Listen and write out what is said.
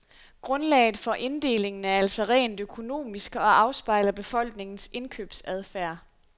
Grundlaget for inddelingen er altså rent økonomisk og afspejler befolkningens indkøbsadfærd.